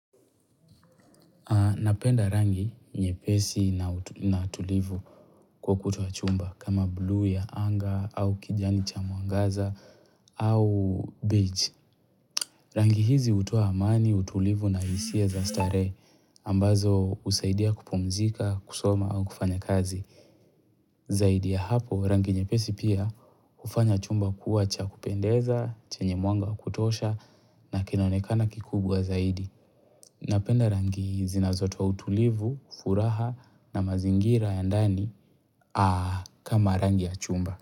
Napenda rangi nyepesi na tulivu kwa ukuta wa chumba kama bluu ya anga au kijani cha mwangaza au beach. Rangi hizi hutowa amani, utulivu na hisia za starehe ambazo husaidia kupumzika, kusoma au kufanya kazi. Zaidi ya hapo rangi nyepesi pia hufanya chumba kuwa cha kupendeza, chenye mwanga wa kutosha na kinaonekana kikubwa zaidi. Napenda rangi zinazotoa utulivu, furaha na mazingira ya ndani kama rangi ya chumba.